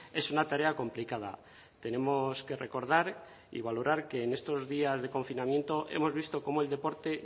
es una tarea complicada tenemos que recordar y valorar que en estos días de confinamiento hemos visto cómo el deporte